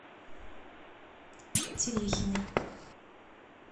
терехиной